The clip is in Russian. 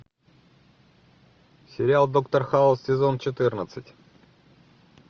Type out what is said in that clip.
сериал доктор хаус сезон четырнадцать